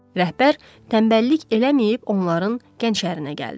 Rəhbər tənbəllik eləməyib onların gənşərinə gəldi.